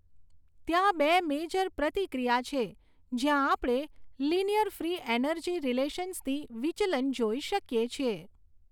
ત્યાં બે મેજર પ્રતિક્રિયા છે, જ્યાં આપણે લિનિયર ફ્રી એનર્જી રિલેશન્સથી વિચલન જોઈ શકીએ છીએ.